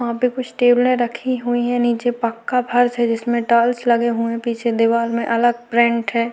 वहाँ पे कुछ टेबलें रखी हुई है नीचे पक्का फर्श है जिसमें टाइल्स लगे हुए है पीछे दीवाल में अलग प्रिंट हैं।